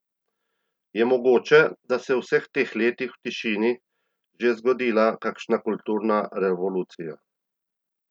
Je mogoče, da se je v vseh teh letih, v tišini, že zgodila nekakšna kulturna revolucija?